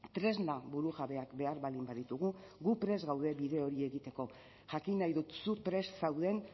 tresna burujabeak behar baldin baditugu gu prest gaude bide hori egiteko jakin nahi dut zu prest zauden